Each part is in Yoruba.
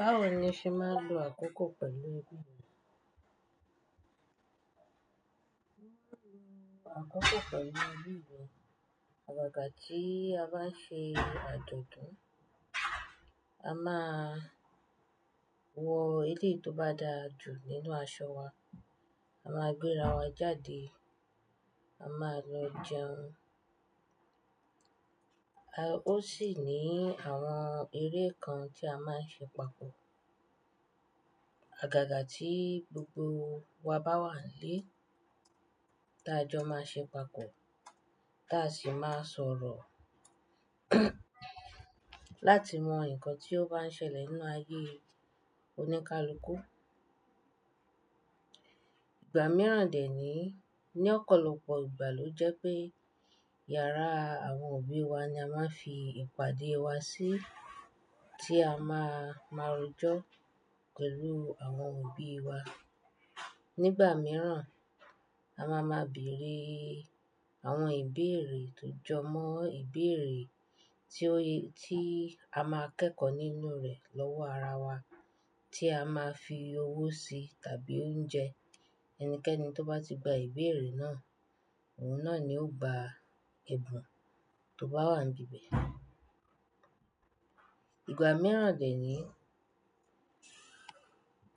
Báwo ni ṣe máa ń lo àkókò pẹ̀lú ẹbí rẹ? Àkókò pẹ̀lú ẹbí wa, àgàgà tí a bá ń ṣe àjọ̀dún, a máa wọ èleyi tó bá da jù nínú aṣọ wa, a máa gbéra wa jáde, a máa lọ jẹun. A-- ó sì ní àwọn eré kan tí a máa ń ṣe papọ̀. Àgàgà tí gbogbo wa bá wà nílé tí a jọ máa ń ṣe papọ̀, táa sì máa sọ̀rọ̀ láti mọ nǹkan tí ó bá ń ṣẹlẹ̀ nínú ayé oníkálukú. Ìgbà mìíràn dè ní, ní ọ̀pọ̀lọpọ̀ ìgbà ló jẹ́ pé yàrá àwọn òbí wa ni a máa ń fi ìpàdé wa sí tí a máa máa rojọ́ pẹ̀lú àwọn òbí wa. Nígbà mìíràn, a máa má bèrè àwọn ìbéèrè tó jọmọ́ ìbéèrè tí ó ye-- tí a máa kẹ́kọ̀ọ́ nínú rẹ̀ lọ́wọ́ ara wa tí a máa fi owó sí tàbí oúnjẹ. Ẹnikẹ́ni tó bá ti gba ìbéèrè náà òun náà ni ó gba ẹ̀bùn tó bá wà níbẹ̀. Ìgbà mìíràn dè ní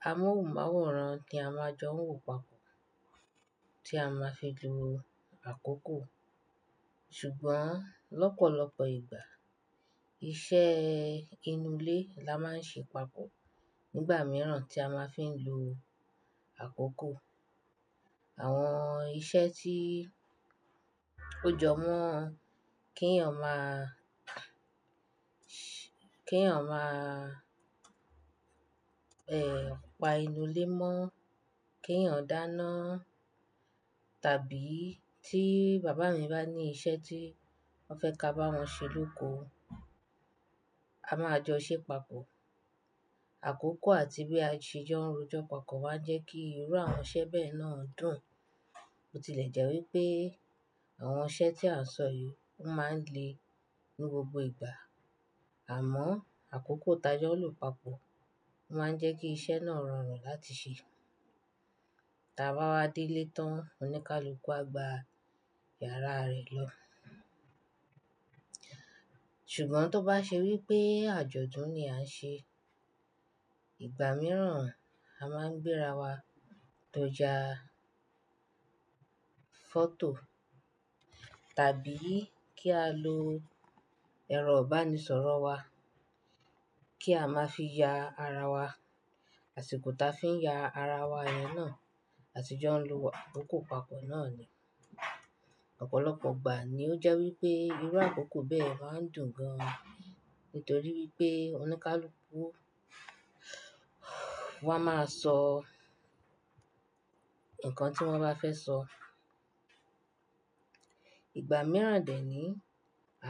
a mu ọ́un máwòrán tí a máa jọ wò papọ̀ tí a máa fi julo àkókò. Ṣùgbọ́n lọ́pọ̀lọpọ̀ ìgbà iṣẹ́ inú ilé la máa ń ṣe papọ̀. Nígbà mìíràn tí a máa fi ń lo àkókò. Àwọn iṣẹ́ tí ó jọmọ́ kí èèyàn máa, kí èèyàn máa, ẹ́, pa inú ilé mọ́, kí èèyàn dáná tàbí tí bàbá mi bá ní iṣẹ́ tí wọ́n fẹ́ ká bá wọn ṣe lóko, a máa jọ ṣẹ papọ̀. Àkókò àti bí a ṣe jọ ń rojọ́ papọ̀ wa jẹ́ kí irú àwọn iṣẹ́ bẹ́ẹ̀ náà dùn. Ó tilẹ̀ jẹ́ wí pé àwọn iṣẹ́ tí a sọ yìí ó máa ń le ní gbogbo ìgbà, àmọ́ àkókò tájọ́ lọ pàpọ̀ máa ń jẹ́ kí iṣẹ́ náà rọrùn láti ṣe. Tí a bá wá dé ilé tán, oníkálukú á gba yàrá rẹ̀ lọ. Ṣùgbọ́n tó bá ṣe wí pé àjọ̀dún ni a ń ṣe, ìgbà mìíràn a máa ń gbéra wa tó jẹ fọ́tò tàbí kí á lo ẹ̀rọ ìbánisọ̀rọ̀ wa kí a máa fi ya ara wa. Àsìkò táa fi ń ya ara wa yẹn náà, àti jọ ń lo àkókò papọ̀ náà ni. Ọ̀pọ̀lọpọ̀ ìgbà ni ó jẹ́ wí pé irú àkókò bẹ́ẹ̀ máa ń dùn gan-an nítorí wípé oníkálukú wọ́n á máa sọ nǹkan tí wọ́n bá fẹ́ sọ. Ìgbà mìíràn dè ní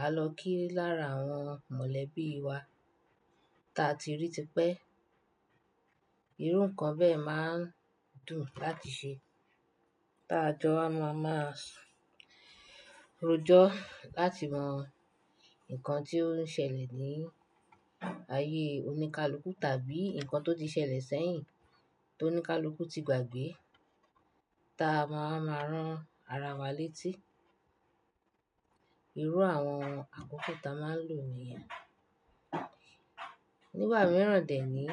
á lọ kí i lára àwọn mọ̀lẹ́bí wa tí a ti rí tí pẹ́. Irú nǹkan bẹ́ẹ̀ máa ń dùn láti ṣe. Tí a jọ á máa máa rojọ́ láti mọ nǹkan tí ó ń ṣẹlẹ̀ ní ayé oníkálukú tàbí nǹkan tó ti ṣẹlẹ̀ sẹ́yìn tó oníkálukú ti gbàgbé. Tí a máa máa rán ara wa létí. Irú àwọn àkókò táa máa ń lò ní yen. Nígbà mìíràn dè ní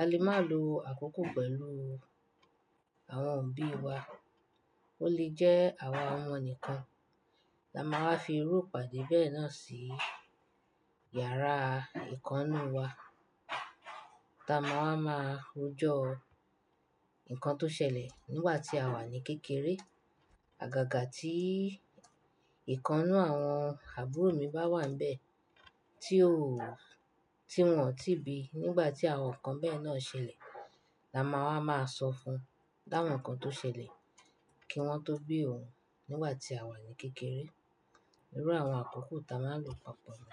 a lè máa lo àkókò pẹ̀lú àwọn òbí wa. Ó lè jẹ́ àwa àwọn ọmọ nìkan la máa fi rú ìpàdé bẹ́ẹ̀ náà sí yàrá ìkán nú wa tí a máa máa rojọ́ nǹkan tó ṣẹlẹ̀ nígbà tí àwa ní kékeré. Àgàgà tí ìkánú àwọn àbúrò mi bá wà níbẹ̀ tí ó-- tí wọ́n ò tí ì bí nígbà tí àwọn nǹkan bẹ́ẹ̀ náà ṣẹlẹ̀ la máa wá máa sọ fún láwọn nǹkan tó ṣẹlẹ̀ kí wọ́n tó bí òun nígbà tí àwa ní kékeré. Irú àwọn àkókò táa máa ń lò papọ̀ ni.